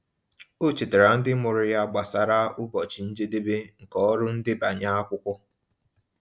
Ọ chetaara ndị mụrụ ya gbasara ụbọchị njedebe nke ọrụ ndebanye akwụkwọ.